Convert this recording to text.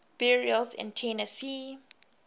burials in tennessee